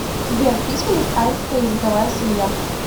сбер письменность айнская языковая семья